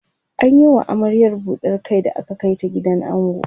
an Yi wa amaryar buɗar Kai da aka Kai ta gidan ango